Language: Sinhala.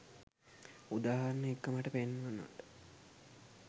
උදාහරණ එක්ක මට පෙන්වනවට.